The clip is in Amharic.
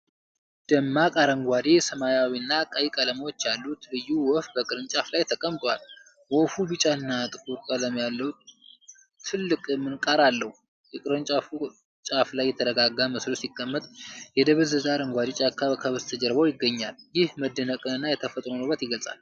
ደማቅ አረንጓዴ፣ ሰማያዊና ቀይ ቀለሞች ያሉት ልዩ ወፍ በቅርንጫፍ ላይ ተቀምጧል። ወፉ ቢጫና ጥቁር ቀለም ያለው ትልቅ ምንቃር አለው። የቅርንጫፉ ጫፍ ላይ የተረጋጋ መስሎ ሲቀመጥ፣ የደበዘዘ አረንጓዴ ጫካ ከበስተጀርባው ይገኛል። ይህ መደነቅንና የተፈጥሮን ውበት ይገልጻል።